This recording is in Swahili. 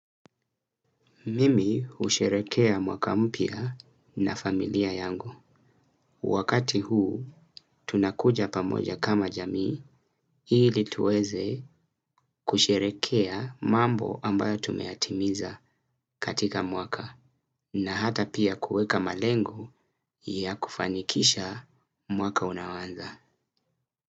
Mimi husherekea mwaka mpya na familia yangu. Wakati huu tunakuja pamoja kama jamii ili tuweze kusherehekea mambo ambayo tumeyatimiza katika mwaka na hata pia kuweka malengo ya kufanikisha mwaka unaonza.